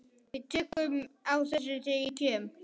Við tökum á þessu þegar ég kem.